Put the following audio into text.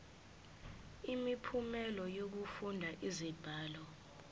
imiphumela yokufunda izibalo